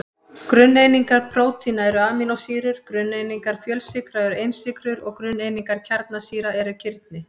Grunneiningar prótína eru amínósýrur, grunneiningar fjölsykra eru einsykrur og grunneiningar kjarnasýra eru kirni.